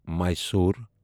Mysore